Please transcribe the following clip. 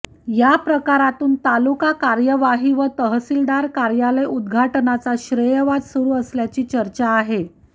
या प्रकारातून तालुका कार्यवाही व तहसीलदार कार्यालय उद्घाटनाचा श्रेयवाद सुरू असल्याची चर्चा आहे